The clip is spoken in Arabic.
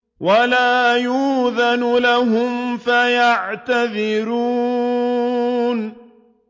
وَلَا يُؤْذَنُ لَهُمْ فَيَعْتَذِرُونَ